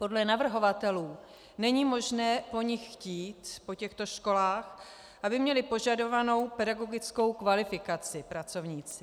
Podle navrhovatelů není možné po nich chtít, po těchto školách, aby měli požadovanou pedagogickou kvalifikaci pracovníci.